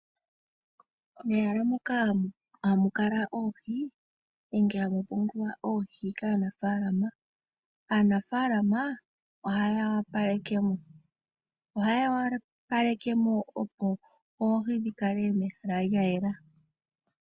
Mehala moka hamu kala oohi nenge hamu pungulwa oohi kanafalama. Aanafalama ohaya opalekemo, ohaya opalekemo opo oohi dhi kale mehala lyayela.